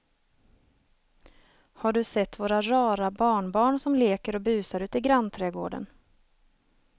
Har du sett våra rara barnbarn som leker och busar ute i grannträdgården!